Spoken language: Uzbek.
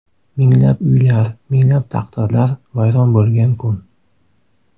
Minglab uylar, minglab taqdirlar vayron bo‘lgan kun.